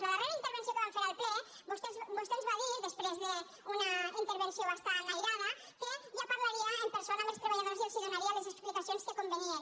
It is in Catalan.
a la darrera intervenció que vam fer en el ple vostè ens va dir després d’una intervenció bastant aïrada que ja parlaria en persona amb els treballadors i els donaria les explicacions que convenien